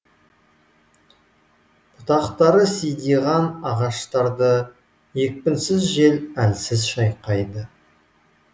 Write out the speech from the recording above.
бұтақтары сидиған ағаштарды екпінсіз жел әлсіз шайқайды